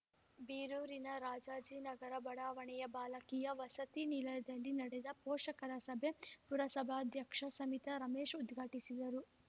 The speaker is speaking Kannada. ಬೀರೂರಿನ ರಾಜಾಜಿನಗರ ಬಡಾವಣೆಯ ಬಾಲಕಿಯ ವಸತಿ ನಿಲಯದಲ್ಲಿ ನಡೆದ ಪೋಷಕರ ಸಭೆ ಪುರಸಭಾಧ್ಯಕ್ಷೆ ಸವಿತಾ ರಮೇಶ್‌ ಉದ್ಘಾಟಿಸಿದರು